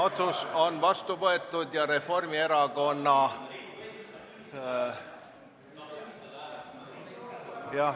Otsus on vastu võetud ja Reformierakonna ...